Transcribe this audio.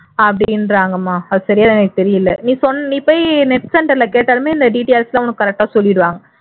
அப்படின்றாங்கம்மா அது சரியா எனக்கு தெரியலை நீ சொன் நீ போய் net center ல கேட்டாலுமே இந்த details எல்லாம் correct ஆ உனக்கு சொல்லிருவாங்க